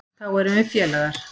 Þá erum við félagar.